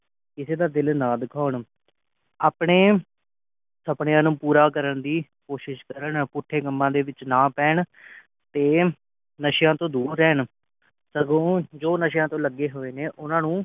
ਕਿਸੇ ਦਾ ਦਿਲ ਨਾ ਦੁਖਾਉਣ ਆਪਣੇ ਸੁਪਨਿਆਂ ਨੂੰ ਪੂਰਾ ਕਰਨ ਦੀ ਕੋਸ਼ਿਸ ਕਰਨ ਪੁੱਠੇ ਕਮਾ ਦੇ ਵਿਚ ਨਾ ਪੈਣ ਤੇ ਨਸਿਆਂ ਤੋਂ ਦੂਰ ਰਹਿਣ ਸਗੋਂ ਜੋ ਨਸਿਆਂ ਵਿਚ ਲਗੇ ਨੇ ਉਨ੍ਹਾਂ ਨੂੰ